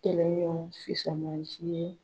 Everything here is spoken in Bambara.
Kɛlen ɲɔgɔn fisamannci ye